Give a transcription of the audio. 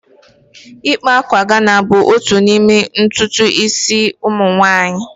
Ịkpa akwa Ghana bụ otu n'ime ntutu isi ụmụ nwanyị